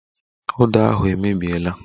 Uda ahụ emebiela